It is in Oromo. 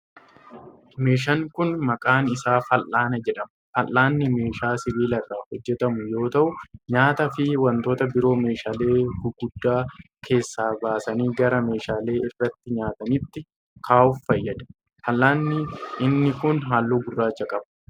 Meeshaan kun, maqaan isaa fal'aana jedhama. Fal'aanni meeshaa sibiila irraa hojjatamu yoo ta'u, nyaata fi wantoota biroo meeshaalee guguddaa keessaa baasanii gara meeshaaleee irratti soorataniitti kaa'uuf fayyada. Fal'aanni inni kun, haalluu gurraacha qaba.